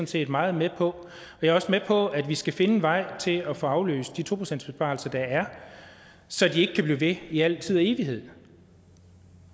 set meget med på jeg er også med på at vi skal finde en vej til at få aflyst de to procentsbesparelser der er så de ikke kan blive ved i al evighed